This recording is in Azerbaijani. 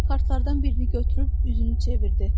Lenny kartlardan birini götürüb üzünü çevirdi.